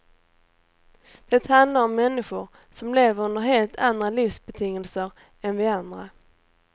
Det handlar om människor som lever under helt andra livsbetingelser än vi andra.